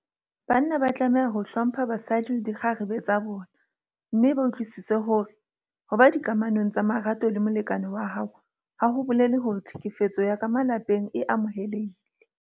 Banna ba tlameha ho hlompha basadi le dikgarebe tsa bona mme ba utlwisise hore ho ba dikamanong tsa marato le molekane wa hao ha ho bolele hore tlhekefetso ya ka malapeng e amohelehile.